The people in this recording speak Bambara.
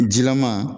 Jilama